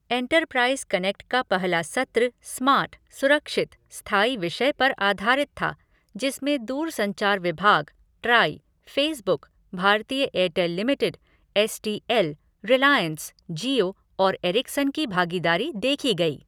Enterprise connect का पहला सत्र स्मार्ट, सुरक्षित, स्थायी विषय पर आधारित था जिसमें दूरसंचार विभाग, TRAI, Facebook, Bharti Airtel limited, S T L, Reliance, Jio और एरिक्सन की भागीदारी देखी गई।